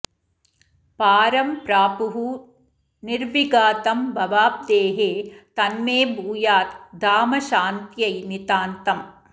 पारं प्रापुः निर्विघातं भवाब्धेः तन्मे भूयात् धाम शान्त्यै नितान्तम्